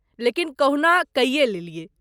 लेकिन कहुना कइये लेलियै।